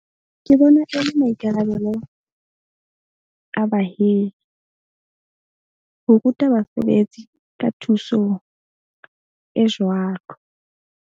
Ke bona e le maikarabelo a bahiri ho ruta basebetsi ka thuso e jwalo.